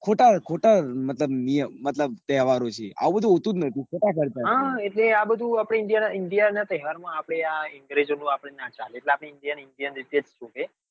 ખોટા ખોટા મતલબ નિયમ મતલબ તહેવારો છે આવું બધું હોતું જ નથી ખોટા ખર્ચા છે હા એટલે આ બધું આપડે india ના india ના તહેવાર માં આપડે અંગ્રેજો નું ના ચાલે એટલે આપડે indian indian રીતે જ શોભે